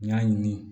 N y'a ɲini